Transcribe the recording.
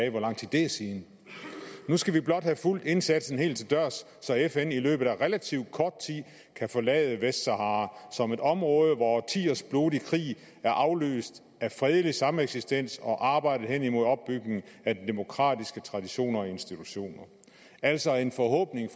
af hvor lang tid det er siden at nu skal vi blot have fulgt indsatsen helt til dørs så fn i løbet af relativt kort tid kan forlade vestsahara som et område hvor årtiers blodig krig er afløst af fredelig sameksistens og arbejdet hen imod opbygningen af demokratiske traditioner og institutioner altså en forhåbning